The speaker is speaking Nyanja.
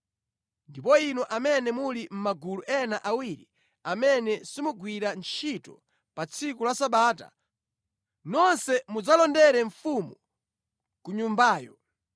Ndipo inu amene muli mʼmagulu ena awiri amene simugwira ntchito pa tsiku la Sabata, nonse mudzalondere mfumu ku nyumbayo.